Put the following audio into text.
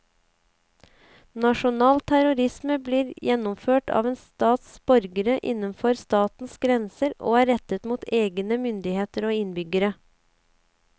Nasjonal terrorisme blir gjennomført av en stats borgere innenfor statens grenser og er rettet mot egne myndigheter og innbyggere.